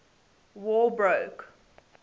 war broke